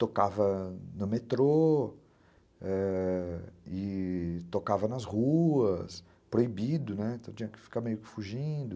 Tocava no metrô, ãh, e tocava nas ruas, proibido, né, tinha que ficar meio que fugindo.